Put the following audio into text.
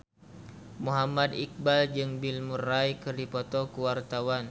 Muhammad Iqbal jeung Bill Murray keur dipoto ku wartawan